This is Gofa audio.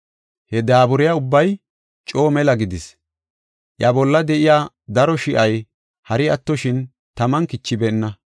He daaburay ubbay coo mela gidis; iya bolla de7iya daro shi7ay hari attoshin, taman kichibeenna.